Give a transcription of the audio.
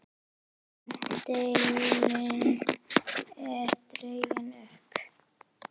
Seglin eru dregin upp.